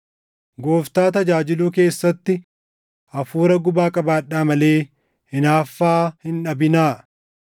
Gooftaa tajaajiluu keessatti hafuura gubaa qabaadhaa malee hinaaffaa hin dhabinaa.